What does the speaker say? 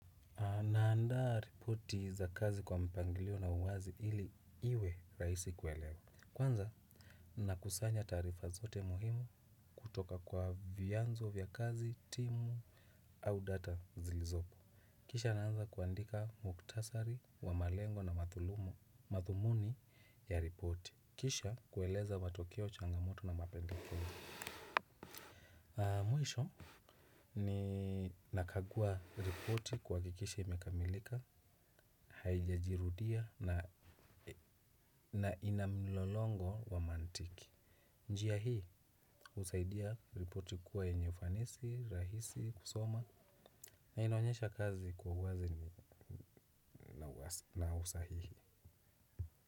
Na andaa ripoti za kazi kwa mpangilio na uwazi ili iwe rahisi kuelewa. Kwanza na kusanya taarifa zote muhimu kutoka kwa vyanzo vya kazi, timu, au data zilizopo. Kisha naanza kuandika muktasari, wamalengo na mathulumo, mathumuni ya ripoti. Kisha kueleza matokeo changamoto na mapendeleo. Mwisho ni nakagua ripoti kuhakikisha imekamilika, haijajirudia na ina mlolongo wa mantiki. Njia hii husaidia ripoti kuwa yenye ufanisi rahisi kusoma. Na inaonyesha kazi kwa uwazi na usahihi.